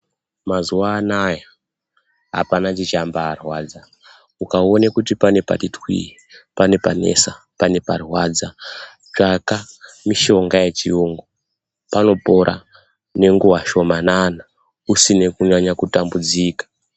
Mazuwa anaya hapana chichambaarwadza. Ukaona kuti pane pati twii, pane panesa, pane parwadza, tsvaka mishonga yechiyungu. Panopora nenguwa shomanana usina kunyanya kutambudzika.